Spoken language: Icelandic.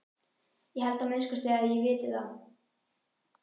Ég held að minnsta kosti að ég viti það.